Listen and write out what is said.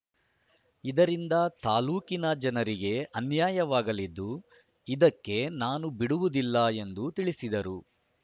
ಇದರಿಂದ ತಾಲೂಕಿನ ಜನರಿಗೆ ಅನ್ಯಾಯವಾಗಲಿದ್ದು ಇದಕ್ಕೆ ನಾನು ಬಿಡುವುದಿಲ್ಲ ಎಂದು ತಿಳಿಸಿದರು